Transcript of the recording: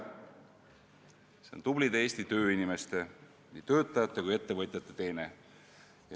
See on tublide Eesti tööinimeste, nii töötajate kui ka ettevõtjate teene.